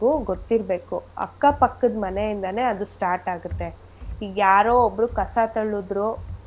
ಗೊತ್ತಿರ್ಬೇಕು ಅಕ್ಕಾ ಪಕ್ಕದ್ ಮನೆಯಿಂದನೇ ಅದ್ start ಆಗುತ್ತೆ ಇಗ್ ಯಾರೋ ಒಬ್ಳು ಕಸ ತಳ್ಳದ್ರು